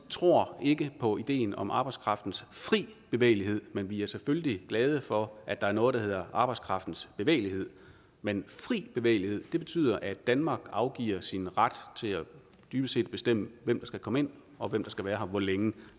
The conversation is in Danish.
tror ikke på ideen om arbejdskraftens fri bevægelighed men vi er selvfølgelig glade for at der er noget der hedder arbejdskraftens bevægelighed men fri bevægelighed betyder at danmark afgiver sin ret til at bestemme hvem der skal komme ind og hvem der skal være her hvor længe og